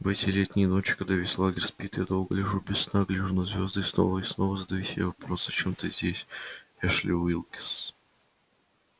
в эти летние ночи когда весь лагерь спит я долго лежу без сна гляжу на звезды и снова и снова задаю себе вопрос зачем ты здесь эшли уилкс